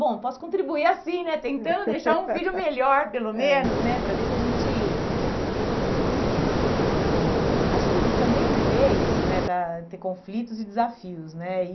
Bom, posso contribuir assim né, tentando deixar um filho melhor, pelo menos né, aham, para ver se a gente... Enfim, eh acho que também viver é isso né, estar ter conflitos e desafios né.